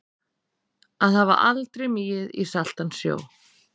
Að hafa aldrei migið í saltan sjó